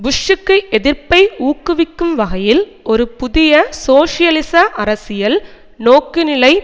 புஷ்ஷுக்கு எதிர்ப்பை ஊக்குவிக்கும் வகையில் ஒரு புதிய சோசியலிச அரசியல் நோக்குநிலை